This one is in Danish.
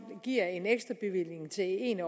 giver en ekstrabevilling til en af